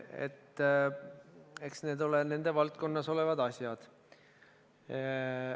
Eks need ole nende valdkonnas olevad teemad.